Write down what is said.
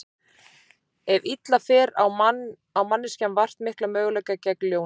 Ef illa fer á manneskjan vart mikla möguleika gegn ljóni.